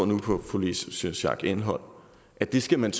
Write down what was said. på fru louise schack elholm at det skal man